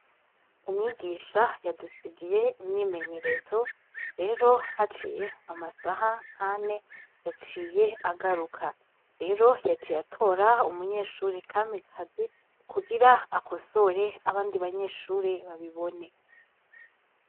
Umwigisha yadusigiye imyimenyerezo rero haciye amasaha nkane yaciye agaruka rero yaciye atora umunyeshure kamikazi kugira akosore abandi banyeshure babibone